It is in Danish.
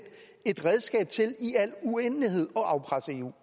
et redskab til i al uendelighed at afpresse eu